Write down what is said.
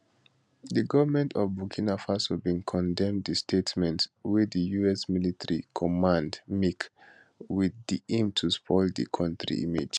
di goment of burkina faso bin condemn di statement wey di us military command make wit di aim to spoil di kontri image